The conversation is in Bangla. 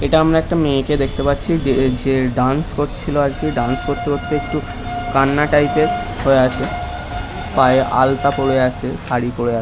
এটা আমরা একটা মায়াকে দেকতে পাচ্ছি যে এ ডান্স করছিলো ডান্স করতে করতে একটু কন্না টাইপ হয়ে আছে পায়ে আলতা পরে আছে সারি পরে আছে। .